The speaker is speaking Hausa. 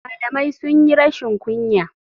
Malamai sunyi rashin kunya.